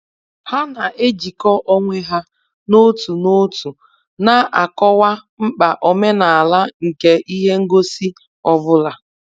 Ha na-ejikọ onwe ha n'otu n'otu na-akọwa mkpa omenala nke ihe ngosi ọ bụla.